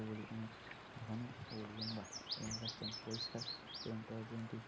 এগুলি অনেক ঘন ও লম্বা এবং আকাশটা পরিষ্কার এবং টয় ট্রেন -টি